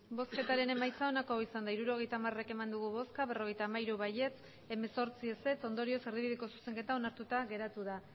bozketaren emaitza onako izan da hirurogeita hamaika eman dugu bozka berrogeita hamairu boto alde dieciocho contra ondorioz erdibideko zuzenketa onartuta geratu da